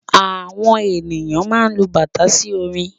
Àwọn ènìyàn má n lu bàtà sí orin